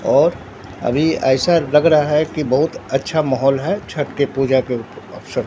और अभी ऐसा लग रहा है कि बहुत अच्छा माहौल है छठ के पूजा के अवसर--